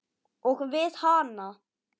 Og við hana.